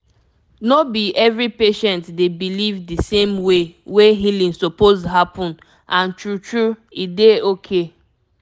no be every patient dey believe di same way wey healing suppose happen and true true e dey okay